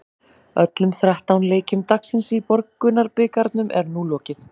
Öllum þrettán leikjum dagsins í Borgunarbikarnum er nú lokið.